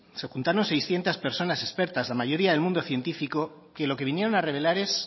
se juntaron seiscientos personas expertas la mayoría del mundo científico que lo que vinieron a revelar es